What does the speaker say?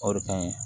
O de ka ɲi